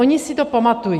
Oni si to pamatují.